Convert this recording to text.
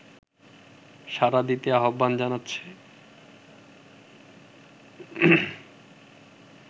সাড়া দিতে আহ্বান জানাচ্ছে